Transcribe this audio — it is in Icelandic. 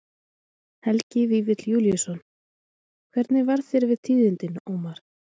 Helgi Vífill Júlíusson: Hvernig varð þér við tíðindin, Ómar?